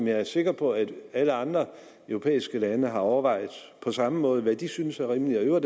jeg er sikker på at alle andre europæiske lande har overvejet på samme måde nemlig hvad de synes er rimeligt og